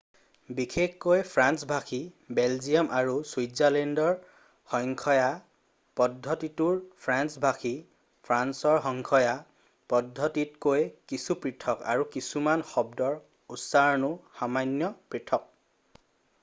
বিশেষকৈ ফ্ৰেন্স ভাষী বেলজিয়াম আৰু ছুইজাৰলেণ্ডৰ সংখ্য়া পদ্ধতিটোৰ ফ্ৰেন্স ভাষী ফ্ৰান্সৰ সংখ্য়া পদ্ধতিতকৈ কিছু পৃথক আৰু কিছুমান শব্দৰ উচ্চাৰণো সামান্য পৃথক